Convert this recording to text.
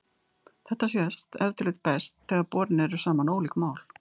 Þetta sést ef til vill best þegar borin eru saman ólík mál.